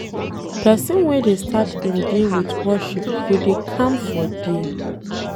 Pesin wey dey start im day with worship go dey calm for day.